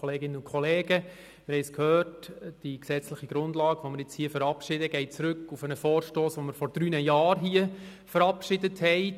Wie bereits gehört, geht die gesetzliche Grundlage auf einen Vorstoss zurück, den wir vor drei Jahren verabschiedet haben.